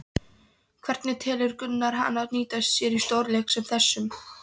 Hvernig telur Gunnar hana nýtast sér í stórleik sem þessum?